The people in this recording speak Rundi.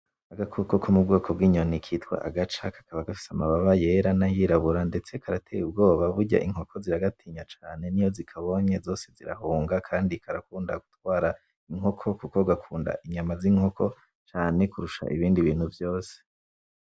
Agakoko ko m'ubwoko bwinyoni kwitwa Agaca kakaba gafise amababa yera nayirabura ndetse karateye ubwoba, burya Inkoko ziragatinya cane iyo zikabonye zose zirahunga Kandi karakunda gutwara Inkoko kuko gakunda inyuma z'Inkoko cane kurusha ibindi bintu vyose.